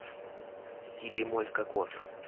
си бемоль кокос